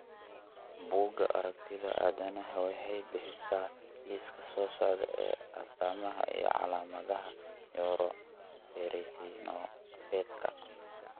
Bugaa aragtida aDdanaha waxay bixisaa liiska soo socda ee astamaha iyo calaamadaha Neuroferritinopathyka.